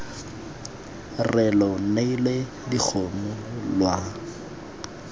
re lo neile dikgomo lwa